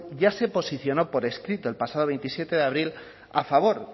ya se posicionó por escrito el pasado veintisiete de abril a favor